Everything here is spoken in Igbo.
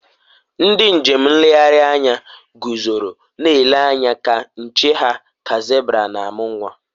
ndị njem nlegharị anya guzoro na-eju anya ka nche ha ka zebra na-amụ nwa